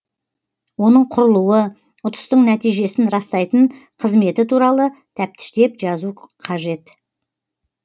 оның құрылуы ұтыстың нәтижесін растайтын қызметі туралы тәптіштеп жазу қажет